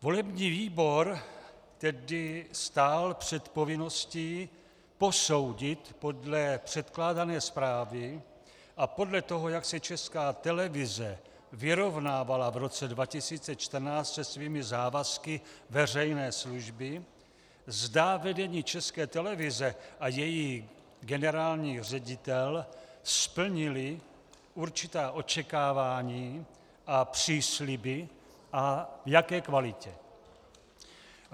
Volební výbor tedy stál před povinností posoudit podle předkládané zprávy a podle toho, jak se Česká televize vyrovnávala v roce 2014 se svými závazky veřejné služby, zda vedení České televize a její generální ředitel splnili určitá očekávání a přísliby a v jaké kvalitě.